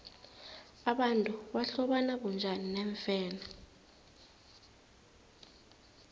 abantu bahlobana bunjani neemfene